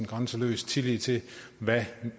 grænseløs tillid til hvad